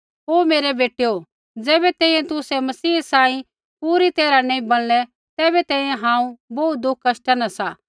ओ मेरै बेटैओ ज़ैबै तैंईंयैं तुसै मसीह सांही पूरी तैरहा नैंई बणलै तैबै तैंईंयैं हांऊँ बोहू दुःख कष्टा न सा